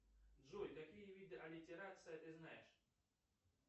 джой какие виды аллитерация ты знаешь